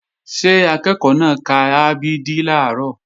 Ṣé akẹ́ẹ̀kọ́ náà ka a b d làárọ̀?